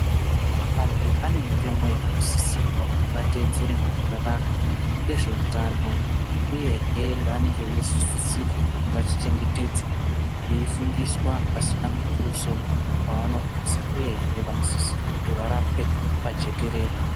Vantu vane mitemo yavanosisirwa kuti vateedzere muneraramo yezveutano uyehe yavanenge veizosisirwa kuti vachengetedze veifundiswa pasina mutuso wavanobvisa uyehe vanosisirwa kuti varapwe pajekerere.